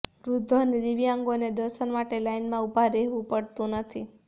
વૃદ્ધો અને દિવ્યાંગોને દર્શન માટે લાઈનમાં ઊભા રહેવુંપડતું નથી